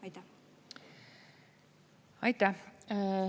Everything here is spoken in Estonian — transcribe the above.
Aitäh!